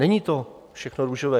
Není to všechno růžové.